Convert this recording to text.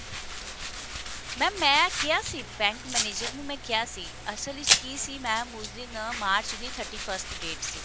mam ਮੈਂ ਕਿਹਾ ਸੀ bank manager ਨੂੰ ਮੈਂ ਕਿਹਾ ਸੀ ਅਸਲ ਵਿੱਚ ਕਿ ਸੀ mam ਉਸ ਦਿਨ ਮਾਰਚ ਦੀ thirty first date ਸੀ